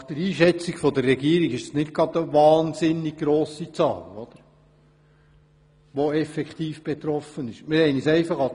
Nach Einschätzung der Regierung ist die Zahl der effektiv Betroffenen nicht dermassen hoch.